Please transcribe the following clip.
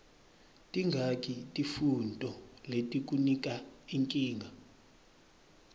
tingaki tifuntfo letikunika nkinga